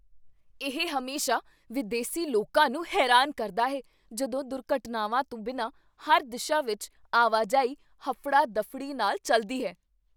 ਇਹ ਹਮੇਸ਼ਾ ਵਿਦੇਸੀ ਲੋਕਾਂ ਨੂੰ ਹੈਰਾਨ ਕਰਦਾ ਹੈ ਜਦੋਂ ਦੁਰਘਟਨਾਵਾਂ ਤੋਂ ਬਿਨਾਂ ਹਰ ਦਿਸ਼ਾ ਵਿੱਚ ਆਵਾਜਾਈ ਹਫੜਾ ਦਫੜੀ ਨਾਲ ਚੱਲਦੀ ਹੈ